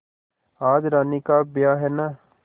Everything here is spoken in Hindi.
आज रानी का ब्याह है न